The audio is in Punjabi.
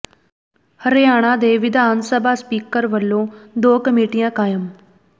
ਹਰਿਆਣਾ ਦੇ ਵਿਧਾਨ ਸਭਾ ਸਪੀਕਰ ਵੱਲੋਂ ਦੋ ਕਮੇਟੀਆਂ ਕਾਇਮ